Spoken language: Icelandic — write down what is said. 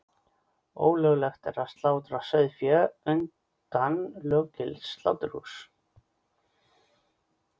Ólöglegt er að slátra sauðfé utan löggilts sláturhúss.